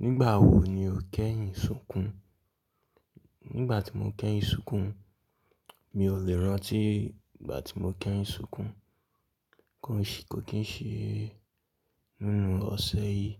Nígbà wo ni o kẹ́yìn súnkún? Nígbà tí mo kẹ́yìn súnkún, mi ò lè rántí igba tí mo kẹ́yìn súnkún. Kò kín ṣe nínú ọ̀sẹ̀ yìí,